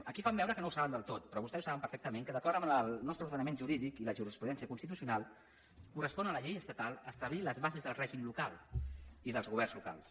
aquí fan veure que no ho saben del tot però vostès ho saben perfectament que d’acord amb el nostre ordenament jurídic i la jurisprudència constitucional correspon a la llei estatal establir les bases del règim local i dels governs locals